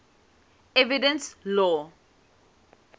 evidence law